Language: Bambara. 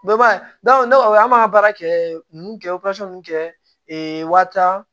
ne ko aw ma baara kɛ nunnu kɛ kɛ waati